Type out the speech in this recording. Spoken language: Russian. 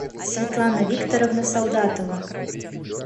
светлана викторовна солдатова